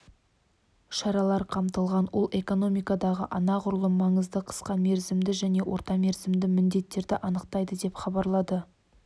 шаралар қамтылған ол экономикадағы анағұрлым маңызды қысқа мерзімді және орта мерзімді міндеттерді анықтайды деп хабарлады